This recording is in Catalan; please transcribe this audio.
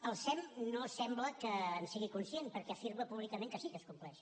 el sem no sembla que en sigui conscient perquè afirma públicament que sí que es compleix